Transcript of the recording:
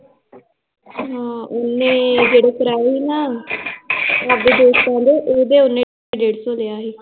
ਹਾਂ ਓਹਨੇ ਜਿਹੜੇ ਕਰਾਏ ਹੀ ਨਾ, ਆਪਦੇ ਦੋਸਤਾਂ ਦੇ ਉਹਦੇ ਓਹਨੇ ਡੇਢ ਸੋ ਲਿਆ ਹੀ l